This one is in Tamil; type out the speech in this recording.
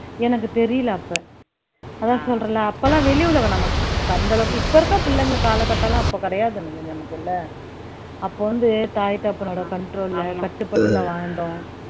எனக்கு தெரியலை அப்ப அதான் சொல்றேன்ல அப்ப எல்லாம் வெளி உலகம் நமக்கு அந்த அளவுக்கு இப்ப இருக்கிற பிள்ளைங்களுக்கு காலகட்டம்லாம் அப்ப கிடையாது நமக்கு இல்லை அப்ப வந்து தாய் தகப்பனோட control ல கட்டுப்பட்டு வாழ்ந்தோம்